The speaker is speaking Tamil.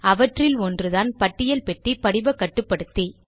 அவற்றில் ஒன்றுதான் பட்டியல் பெட்டி படிவ கட்டுப்படுத்தி